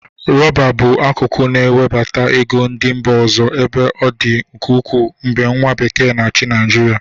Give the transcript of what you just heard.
Rọba bụ akụkụ na-ewebata ego ndị mba ọzọ ebe ọ dị ụkwụ mgbe nwa bekee n'achị Nịajịrịa.